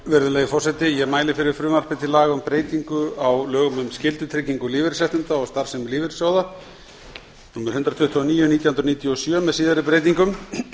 virðulegi forseti ég mæli fyrir frumvarpi til laga um breytingu á lögum um skyldutryggingu lífeyrisréttinda og starfsemi lífeyrissjóða númer hundrað tuttugu og níu nítján hundruð níutíu og sjö með síðari breytingum